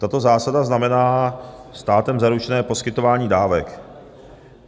Tato zásada znamená státem zaručené poskytování dávek.